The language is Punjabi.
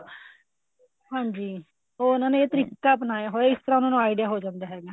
ਹਾਂਜੀ ਉਹਨਾ ਨੇ ਇਹ ਤਰੀਕਾ ਅਪਣਾਇਆ ਹੋਇਆ ਇਸ ਤਰ੍ਹਾਂ ਉਹਨਾ ਨੂੰ idea ਹੋ ਜਾਂਦਾ ਹੈਗਾ